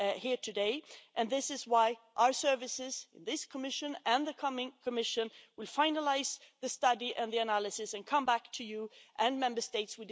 here today, and this is why our services in this Commission and the coming Commission will finalise the study and the analysis and come back to you and the Member States.